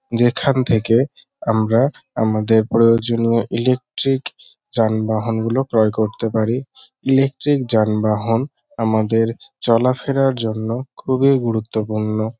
যেখান থেকে আমরা আমাদের প্রয়োজনীয় ইলেকট্রিক যানবাহন গুলো ক্রয় করতে পারি। ইলেকট্রিক যানবাহন আমাদের চলাফেরার জন্য খুবই গুরুত্বপূর্ণ।